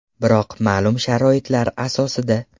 Biroq ma’lum sharoitlar asosida.